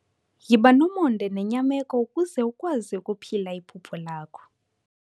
Yiba nomonde nenyameko ukuze ukwazi ukuphila iphupha lakho.